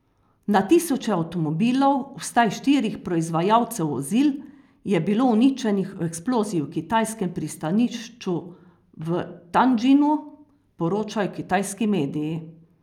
Na tisoče avtomobilov, vsaj štirih proizvajalcev vozil, je bilo uničenih v eksploziji v kitajskem pristanišču v Tjandžinu, poročajo kitajski mediji.